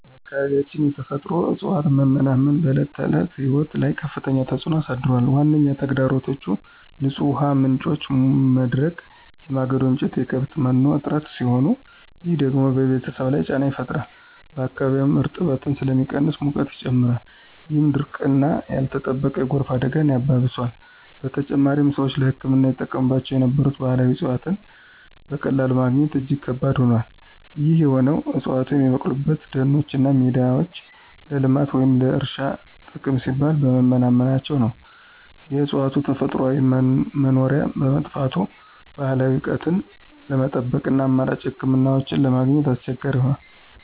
በአካባቢያችን የተፈጥሮ እፅዋት መመናመን በዕለት ተዕለት ሕይወት ላይ ከፍተኛ ተጽዕኖ አሳድሯል። ዋነኛ ተግዳሮቶቹ የንጹህ ውሃ ምንጮች መድረቅ፣ የማገዶ እንጨትና የከብት መኖ እጥረት ሲሆኑ፣ ይህ ደግሞ በቤተሰብ ላይ ጫና ይፈጥራል። በአካባቢውም እርጥበት ስለሚቀንስ ሙቀት ይጨምራል፣ ይህም ድርቅና ያልተጠበቀ የጎርፍ አደጋን ያባብሰዋል። በተጨማሪም፣ ሰዎች ለሕክምና ይጠቀሙባቸው የነበሩ ባህላዊ እፅዋትን በቀላሉ ማግኘት እጅግ ከባድ ሆኗል። ይህ የሆነው ዕፅዋቱ የሚበቅሉባቸው ደኖችና ሜዳዎች ለልማት ወይም ለእርሻ ጥቅም ሲባል በመመናመናቸው ነው። የእፅዋቱ ተፈጥሯዊ መኖሪያ በመጥፋቱ፣ ባህላዊ እውቀትን ለመጠበቅና አማራጭ ሕክምናዎችን ለማግኘት አስቸጋሪ ሆኗል።